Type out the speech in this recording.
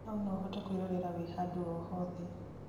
hau no ũhote kwĩrorera wĩ handũ o hothe